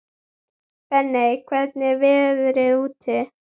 Benney, hvernig er veðrið úti?